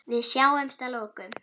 Við sjáumst að lokum.